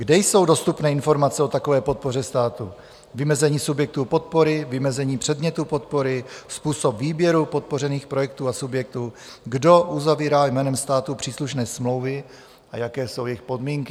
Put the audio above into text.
Kde jsou dostupné informace o takové podpoře státu - vymezení subjektu podpory, vymezeni předmětu podpory, způsob výběru podpořených projektů a subjektů, kdo uzavírá jménem státu příslušné smlouvy a jaké jsou jejich podmínky?